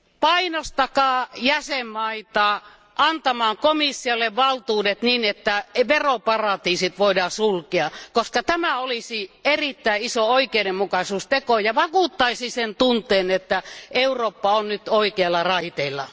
Painostakaa jäsenvaltioita antamaan komissiolle valtuudet, niin että veroparatiisit voidaan sulkea, koska tämä olisi erittäin iso oikeudenmukaisuusteko ja vakuuttaisi sen tunteen, että Eurooppa on nyt oikeilla raiteilla.